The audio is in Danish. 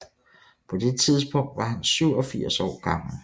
På det tidspunkt var han 87 år gammel